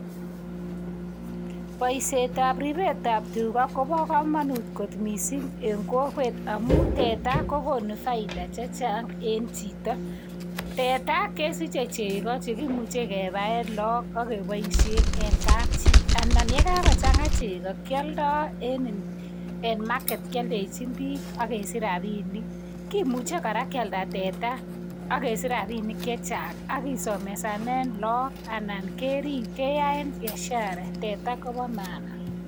Boisietab ripetab tuga kobo kamanut kot mising eng kokwet amun teta kogonu faida chechang en chito. Teta kesiche chego che kimuche kepaen loog ak keboisien en kapchi anan yekagochanga chego, kialdo enin, en market kialdechin biik ak kesich rapinik. Kimuche kora kialda teta ak kesich rapinik che chang ak kisomesanen loog anan kerip keyaen biashara. Teta kopo maana.